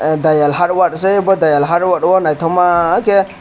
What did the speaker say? dayal hardware se abo dayal hardware naithoma khe.